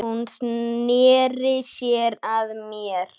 Hún sneri sér að mér.